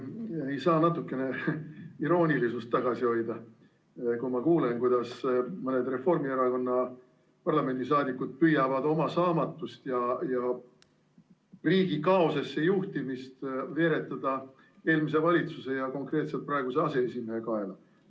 Ma ei saa iroonilisust tagasi hoida, kui kuulen, kuidas mõni Reformierakonna parlamendisaadik püüab oma saamatust ja riigi kaosesse juhtimist veeretada eelmise valitsuse, konkreetselt praeguse aseesimehe kaela.